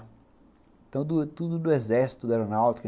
Então, tudo do exército da aeronáutica.